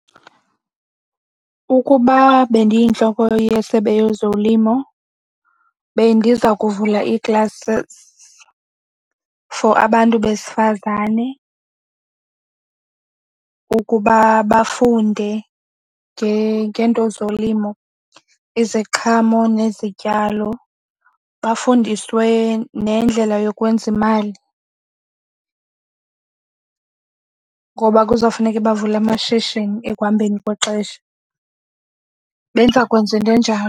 Ukuba bendiyintloko yeSebe Lezolimo bendiza kuvula ii-classes for abantu besifazane ukuba bafunde ngeento zolimo iziqhamo nezityalo. Bafundiswe nendlela yokwenza imali ngoba kuzowufuneke bavule amashishini ekuhambeni kwexesha, benza kwenza into enjalo.